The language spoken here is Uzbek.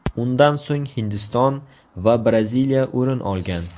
Undan so‘ng Hindiston va Braziliya o‘rin olgan.